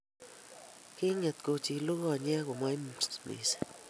Kinget kochilu konyek komoimisi